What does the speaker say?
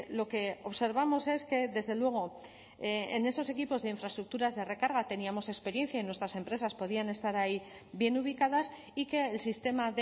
lo que observamos es que desde luego en esos equipos de infraestructuras de recarga teníamos experiencia y nuestras empresas podían estar ahí bien ubicadas y que el sistema